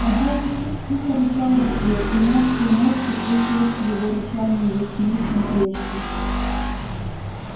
а белый клык тихо рычал в ответ и мягкие нотки слышались в его рычании яснее чем прежде